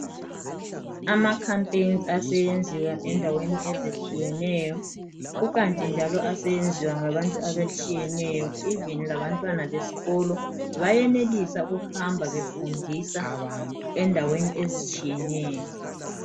Amakhampani aseyenziwa endaweni e zitshiyeneyo kukanje njalo seyenziwa ngabantu abatshiyeneyo evini labantwana besikolo bayelisa ukuhamba befundisa endaweni ezitshiyeneyo